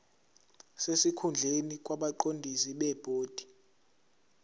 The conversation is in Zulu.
sesikhundleni kwabaqondisi bebhodi